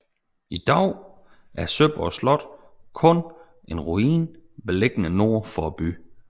I dag er Søborg Slot kun en ruin beliggende nord for byen